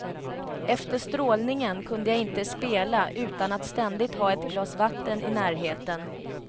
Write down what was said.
Efter strålningen kunde jag inte spela utan att ständigt ha ett glas vatten i närheten.